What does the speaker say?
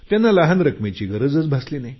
त्यांना लहान रकमेची गरजच भासली नाही